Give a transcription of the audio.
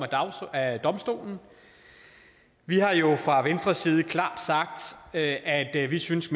af domstolen vi har jo fra venstres side klart sagt at at vi synes